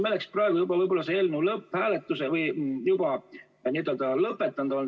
Meil oleks praegu selle eelnõu lõpphääletus olnud või menetlus juba lõpetatud.